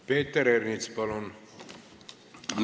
Peeter Ernits, palun!